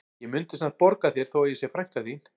Ég mundi samt borga þér þó að ég sé frænka þín